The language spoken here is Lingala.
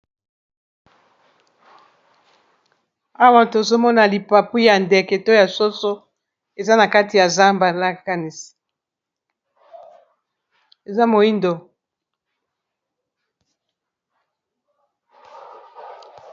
awa tozomona lipapu ya ndeke to ya soso eza na kati ya zambe lakanis eza moindo